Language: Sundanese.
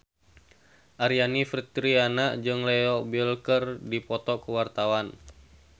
Aryani Fitriana jeung Leo Bill keur dipoto ku wartawan